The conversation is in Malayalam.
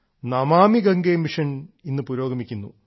നമാമി ഗംഗെ മിഷൻ ഇന്ന് പുരോഗമിക്കുന്നു